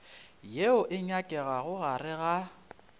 yeo e nyakegago gare ga